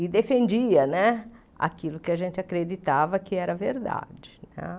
e defendia né aquilo que a gente acreditava que era verdade.